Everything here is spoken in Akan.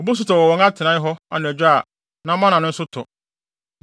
Obosu tɔ wɔ wɔn atenae hɔ Anadwo a na mana no nso tɔ.